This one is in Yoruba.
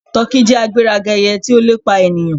Tọki jẹ agberaga eye ti o lepa eniyan.